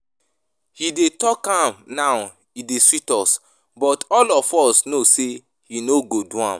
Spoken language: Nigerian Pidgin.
He dey talk am now e dey sweet us but all of us know say he no go do am